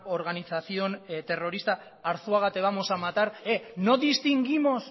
organización terrorista arzuaga te vamos a matar no distinguimos